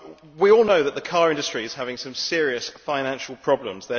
We all know that the car industry is having some serious financial problems.